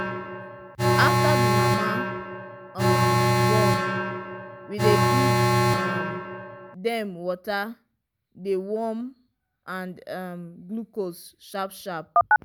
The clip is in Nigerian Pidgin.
after the mama um born we dey give um dem water dey warm and um glucose sharp sharp